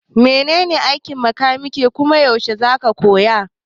Menene aikin makaniki kuma yaushe zaka koya?